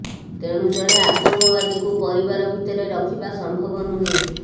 ତେଣୁ ଜଣେ ଆତଙ୍କବାଦୀକୁ ପରିବାର ଭିତରେ ରଖିବା ସମ୍ଭବ ନୁହେଁ